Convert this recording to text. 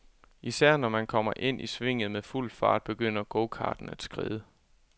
Især når man kommer ind i svinget med fuld fart, begynder gokarten at skride.